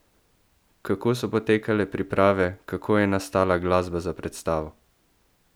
Kako so potekale priprave, kako je nastala glasba za predstavo?